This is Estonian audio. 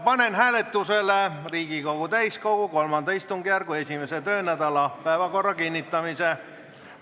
Panen hääletusele Riigikogu täiskogu III istungjärgu 1. töönädala päevakorra kinnitamise.